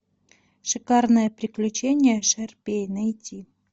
шикарное приключение шарпей найти